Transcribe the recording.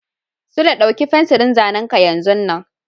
Sule, ɗauki fensirin zanen ka yanzun nan!